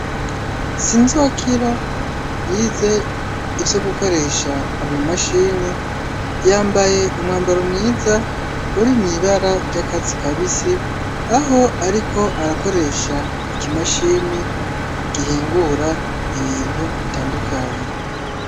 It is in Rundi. Sinzokira yize ivyo gukoresha ama mashini yambaye umwambaro mwiza uri mwibara ry'akasi kabisi aho ariko arakoresha ikimashini gihingura ibintu bitandukanye.